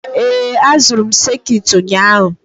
Ee, azụrụ m sekit ụnyaahụ.